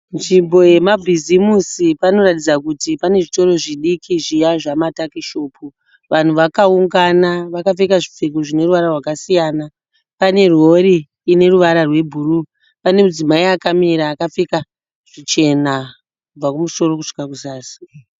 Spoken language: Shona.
Nzvimbo yemabhizimusi. Panoratidza kuti pane zvitoro zvidiki zviya zvamatakishopu. Vanhu vakaungana vakapfeka zvipfeko zvine ruvara rwakasiyana. Pane rori ine ruvara rwebhuruu. Pane mudzimai akamira akapfeka zvichena kubva kumusoro kusvika kuzasi.